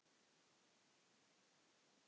Ætla að bíða betri tíma.